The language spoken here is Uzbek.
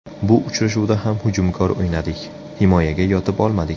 Bu uchrashuvda ham hujumkor o‘ynadik, himoyaga yotib olmadik.